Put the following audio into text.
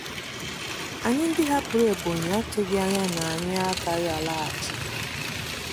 Anyị ndị hapụrụ Ebonyi atụghị anya na anyị agaghị alaghachi.